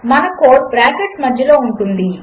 మనకోడ్బ్రాకెట్లమధ్యలోఉంటుంది